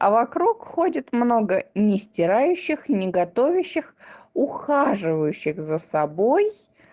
а вокруг ходит много не стирающих не готовящих ухаживающих за собой